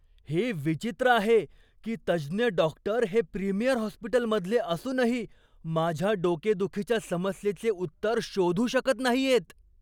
हे विचित्र आहे की तज्ज्ञ डॉक्टर हे प्रीमियर हॉस्पिटलमधले असूनही माझ्या डोकेदुखीच्या समस्येचे उत्तर शोधू शकत नाहीयेत.